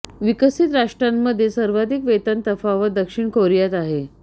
विकसित राष्ट्रांमध्ये सर्वाधिक वेतन तफावत दक्षिण कोरियात आहे